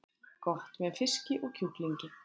Gott með fiski og kjúklingi